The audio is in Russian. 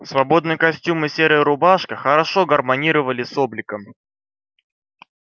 свободный костюм и серая рубашка хорошо гармонировали с обликом